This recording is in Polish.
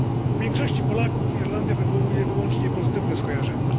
U większości Polaków Irlandia wywołuje wyłącznie pozytywne skojarzenia.